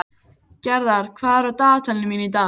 Gerðar, hvað er í dagatalinu mínu í dag?